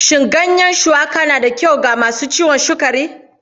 Shin ruwan shuwaka na da kyau ga masu ciwon sukari?